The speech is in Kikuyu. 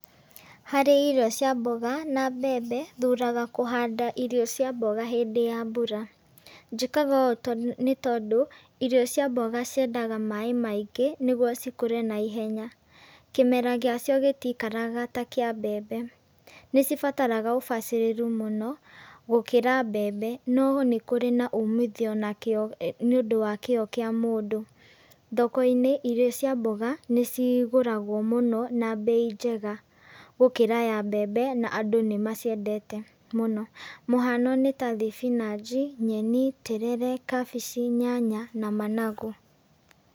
Harĩ irio cia mboga na mbembe, thuraga kũhanda irio cia mboga hĩndĩ ya mbura. Njĩkaga ũũ tondũ nĩ tondũ, irio cia mboga ciendaga maaĩ maingĩ, nĩguo cikũre naihenya. Kĩmera gĩa cio gĩtikaraga ta kĩa mbembe. Nĩcibataraga ũbacĩrĩru mũno, gũkĩra mbembe, no nĩ kũrĩ na uumithio na kĩo nĩ ũndũ wa kĩo kĩa mũndũ. Thoko-inĩ, irio cia mboga, nĩ cigũragwo mũno, na mbei njega gũkĩra ya mbembe, na andũ nĩ maciendete mũno. Mũhano nĩ ta thibinanji, nyeni, terere, kambici, nyanya, na managu.